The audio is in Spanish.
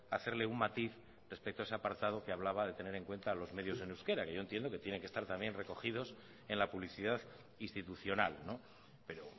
hacerle un matiz respecto a ese apartado que hablaba de tener en cuenta los medios en euskera que yo entiendo que tienen que estar también recogidos en la publicidad institucional pero